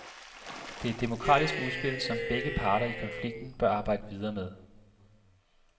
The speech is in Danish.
Det er et demokratisk udspil, som begge parter i konflikten bør arbejde videre med.